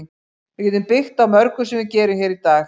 Við getum byggt á mörgu sem við gerum hér í dag.